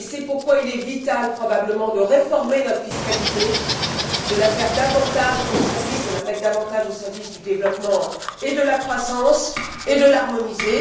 c'est pourquoi il est vital probablement de réformer notre fiscalité, de la mettre davantage au service du développement et de la croissance et de l'harmoniser.